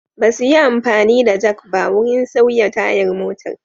Ba su yi amfani da jak ba wurin sauya tayar motar.